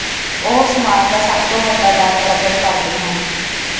ਉਹ ਸਮਾਜ ਦਾ ਸਭ ਤੋਂ ਵੱਡਾ ਡਰ ਪ੍ਰਗਟ ਕਰਦੇ ਹਨ